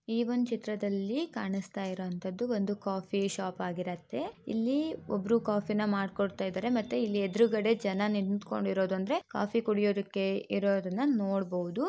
ಈ ಒಂದ್ ಚಿತ್ರದಲ್ಲಿ ಕಾಣಿಸ್ತಾ ಇರುವಂತದ್ದು ಒಂದು ಕಾಫಿ ಶಾಪ್ ಆಗಿರತ್ತೆ ಇಲ್ಲಿ ಒಬ್ರು ಕಾಫಿ ಮಾಡ್ಕೊಡ್ತಾ ಇದ್ದಾರೆ ಮತ್ತೆ ಇಲ್ಲಿ ಎದ್ರುಗಡೆ ಜನ ನಿಂತ್ಕೊಂಡಿರೋದು ಅಂದ್ರೆ ಕಾಫಿ ಕುಡಿಯೋದಿಕ್ಕೆ ಇರೋರನ್ನ ನೋಡ್ಬಹುದು.